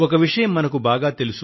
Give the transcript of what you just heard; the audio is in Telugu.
ఒక విషయం మనకు బాగా తెలుసు